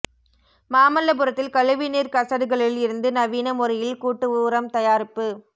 மாமல்லபுரத்தில் கழிவுநீா் கசடுகளில் இருந்து நவீன முறையில் கூட்டு உரம் தயாரிப்பு